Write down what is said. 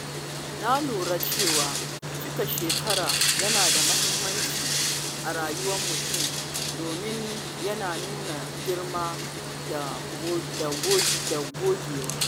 Na lura cewa cika shekara yana da muhimmanci a rayuwar mutum domin yana nuna girma da gogewa.